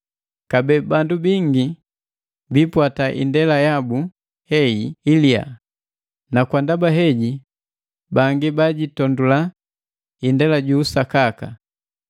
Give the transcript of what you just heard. Kabee bandu bingi biipwata indela yabu heyi iliya, na kwa ndaba heji bangi bajitondula indela ju usakaka.